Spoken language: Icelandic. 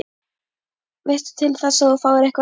Veistu til þess að þú fáir einhver atkvæði?